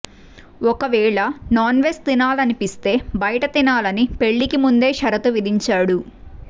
ఒకవేళ non veg తినాలనిపిస్తే బయట తినాలని పెళ్లికి ముందే షరతు విధించాడు